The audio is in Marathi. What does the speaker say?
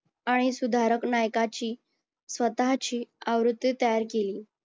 आणि सुधारक नायकाची स्वतःची आवृत्ती तयार केली.